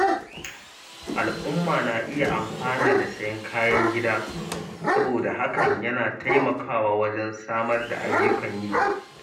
Al’umma na iya amfana da sayen kayan gida saboda hakan yana taimakawa wajen samar da ayyukan yi.